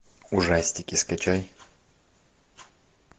ужастики скачай